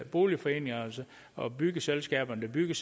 boligforeningerne og byggeselskaberne der bygger